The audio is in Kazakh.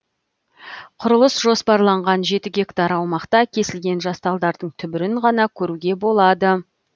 құрылыс жоспарланған жеті гектар аумақта кесілген жас талдардың түбірін ғана көруге болады